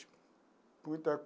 Muita.